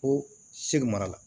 Ko segu mara la